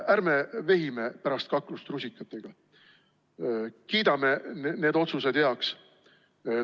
Ärme vehime pärast kaklust rusikatega, kiidame need otsused heaks.